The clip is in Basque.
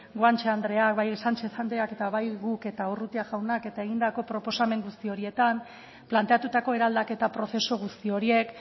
guanche andreak bai sánchez andreak eta bai guk eta urrutia jaunak eta egindako proposamen guzti horietan planteatutako eraldaketa prozesu guzti horiek